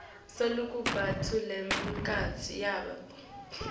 lokubanti nemiphakatsi yabo